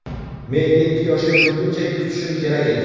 Men yetti yoshga to‘lguncha kutishim kerak edi.